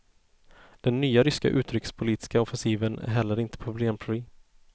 Den nya ryska utrikespolitiska offensiven är heller inte problemfri.